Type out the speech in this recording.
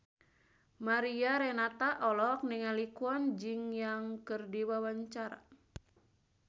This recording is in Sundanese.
Mariana Renata olohok ningali Kwon Ji Yong keur diwawancara